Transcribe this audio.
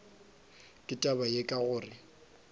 ka taba ye ka gore